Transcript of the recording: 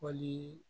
Wali